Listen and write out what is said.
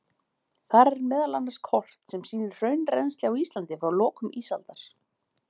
Þar er meðal annars kort sem sýnir hraunrennsli á Íslandi frá lokum ísaldar.